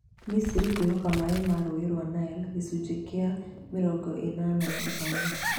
Misiri kwĩhoka maĩ ma rũũĩ rwa Nile gĩcunjĩ kia mĩrongo ĩnana na ithano